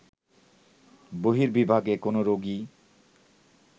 বহির্বিভাগে কোনো রোগী